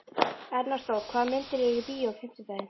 Ernestó, hvaða myndir eru í bíó á fimmtudaginn?